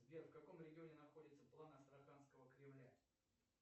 сбер в каком регионе находится план астраханского кремля